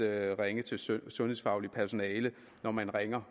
ringes til sundhedsfagligt personale når man ringer